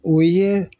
O ye